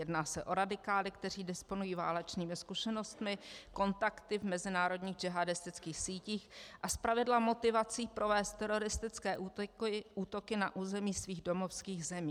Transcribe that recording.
Jedná se o radikály, kteří disponují válečnými zkušenostmi, kontakty v mezinárodních džihádistických sítích a zpravidla motivací provést teroristické útoky na území svých domovských zemí.